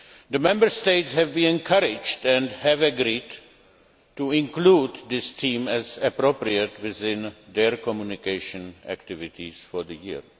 The Member States have been encouraged, and have agreed, to include this theme as appropriate within their communication activities for the year.